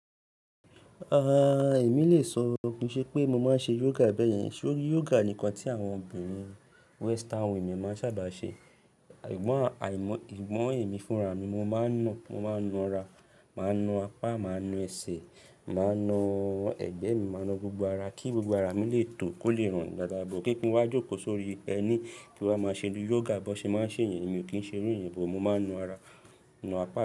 Ah, èmi lè sọ kìí ṣe pé mo máa ń ṣe yoga bẹ́yẹn, ṣori yoga nì ǹkan tí àwọn obìnrin Western women máa ń ṣábàá ṣe. Sùgbọ́n àìmọ́, ìwọ́n ẹ̀mí fúnra mi mo máa ń na, mo máa ń na ara, màá na apá, màá na ẹsẹ̀, màá na ẹ̀gbẹ́ mi, màá na gbogbo ara kí gbogbo ara mi lè tò kó lè ranrùn dáadáa, but kíkí ń wá jókòó sórí ẹní kí n wá má ṣe bi yoga, bọ́n ṣe máa ń ṣé yẹn, èmi ò kìí ń ṣe rú ìyẹn, but mo máa ń na ara, na apá mi.